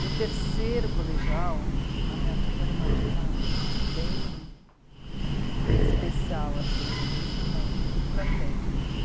No terceiro colegial, a minha turma era uma turma bem... é especial, assim, a gente tinha uma muito para frente.